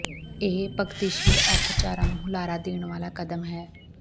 ਇਹ ਪਗਤੀਸ਼ੀਲ ਅਰਥਚਾਰਾ ਨੂੰ ਹੁਲਾਰਾ ਦੇਣ ਵਾਲਾ ਕਦਮ ਹੈ